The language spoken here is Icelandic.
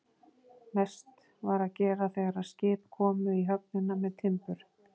Mest var að gera þegar skip komu í höfnina með timbur.